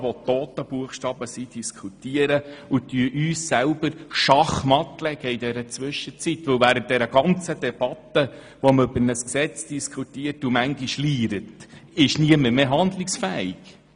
Damit setzen wir uns in der Zwischenzeit selber schachmatt, denn während wir über ein Gesetz diskutieren und manchmal auch «liire», ist niemand mehr handlungsfähig.